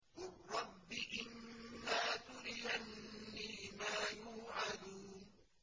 قُل رَّبِّ إِمَّا تُرِيَنِّي مَا يُوعَدُونَ